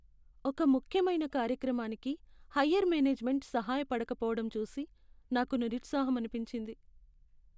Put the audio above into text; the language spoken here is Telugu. ఒక ముఖ్యమైన కార్యక్రమానికి హయ్యర్ మేనేజ్మెంట్ సహాయ పడకపోవడం చూసి నాకు నిరుత్సాహమనిపించింది.